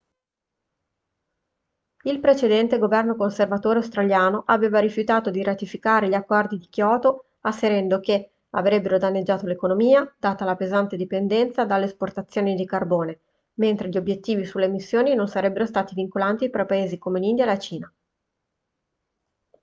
il precedente governo conservatore australiano aveva rifiutato di ratificare gli accordi di kyoto asserendo che avrebbero danneggiato l'economia data la pesante dipendenza dalle esportazioni di carbone mentre gli obiettivi sulle emissioni non sarebbero stati vincolanti per paesi come l'india e la cina